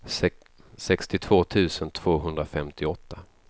sextiotvå tusen tvåhundrafemtioåtta